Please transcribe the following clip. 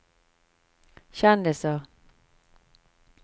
kjendiser